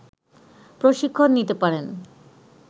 প্রশিক্ষণ নিতে পারেন